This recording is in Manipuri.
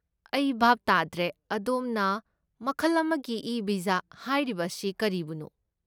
ꯑꯩ ꯚꯥꯞ ꯇꯥꯗ꯭ꯔꯦ, ꯑꯗꯣꯝꯅ 'ꯃꯈꯜ ꯑꯃꯒꯤ ꯏ ꯚꯤꯖꯥ' ꯍꯥꯏꯔꯤꯕ ꯑꯁꯤ ꯀꯔꯤꯕꯨꯅꯣ?